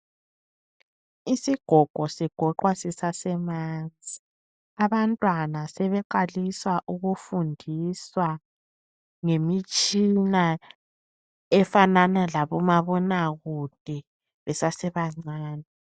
Isigogo sigoqwa sisasemanzi. Abantwana sebeqalisa ukufundiswa ngemitshina efanana labo mabonakude besasebancane.